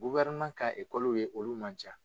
ka ye olu man ca.